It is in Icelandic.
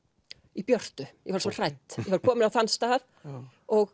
í björtu ég var svo hrædd ég var komin á þann stað og